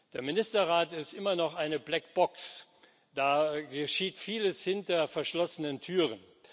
Der Ministerrat ist immer noch eine Blackbox, da geschieht vieles hinter verschlossenen Türen.